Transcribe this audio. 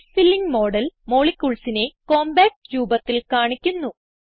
space filling model moleculesനെ compact രൂപത്തിൽ കാണിക്കുന്നു